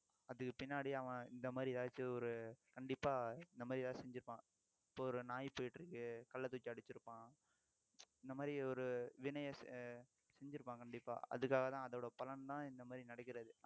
அதுக்கு பின்னாடி அவன் இந்த மாதிரி ஏதாச்சும் ஒரு கண்டிப்பா இந்த மாதிரி ஏதாவது செஞ்சிருப்பான் இப்ப ஒரு நாய் போயிட்டிருக்கு கல்லை தூக்கி அடிச்சிருப்பான் இந்த மாதிரி ஒரு வினையை அஹ் செஞ்சிருப்பான் கண்டிப்பா அதுக்காகதான் அதோட பலன்தான் இந்த மாதிரி நடக்கிறது